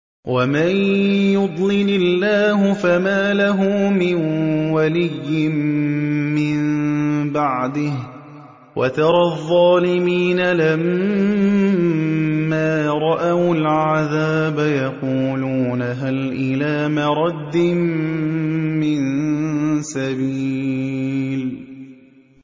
وَمَن يُضْلِلِ اللَّهُ فَمَا لَهُ مِن وَلِيٍّ مِّن بَعْدِهِ ۗ وَتَرَى الظَّالِمِينَ لَمَّا رَأَوُا الْعَذَابَ يَقُولُونَ هَلْ إِلَىٰ مَرَدٍّ مِّن سَبِيلٍ